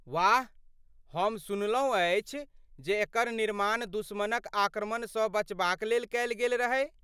वाह! हम सुनलहुँ अछि जे एकर निर्माण दुश्मनक आक्रमणसँ बचबाक लेल कयल गेल रहै।